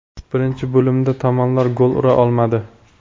Birinchi bo‘limda tomonlar gol ura olmadi.